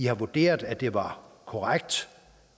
har vurderet at det var korrekt